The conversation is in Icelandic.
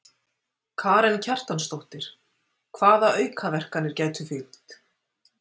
Karen Kjartansdóttir: Hvaða aukaverkanir gætu fylgt?